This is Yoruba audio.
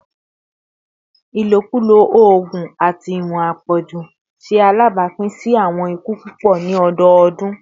ilokulo oogun ati iwọn apọju ṣe alabapin si awọn iku pupọ ni ọdọọdun